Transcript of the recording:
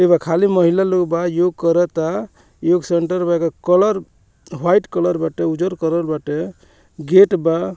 खाली महिला लोग बा योग कराता योग सेंटर बा एकर कलर व्हाइट कलर बाटे उजर कलर बाटे गेट बा।